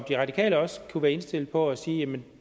de radikale også være indstillet på at sige jamen